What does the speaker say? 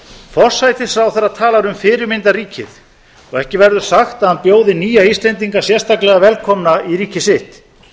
forsætisráðherra talar um fyrirmyndarríkið og ekki verður sagt að hann bjóði nýja íslendinga sérstaklega velkomna í ríki sitt